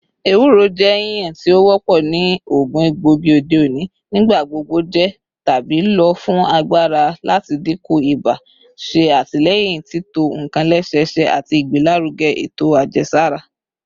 Ewuro jẹ yiyan ti o wọpọ ni oogun egboigi ode oni, nigbagbogbo jẹ tabi lo fun agbara rẹ lati dinku iba, ṣe atilẹyin tito nkan lẹsẹsẹ, ati igbelaruge eto ajẹsara